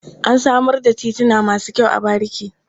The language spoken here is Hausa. An samar da tituna masu kyau a bariki.